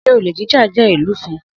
Sé olè jíjà jẹ́ ìlúfin?